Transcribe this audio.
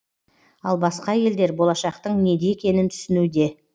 ал басқа елдер болашақтың неде екенін түсінуде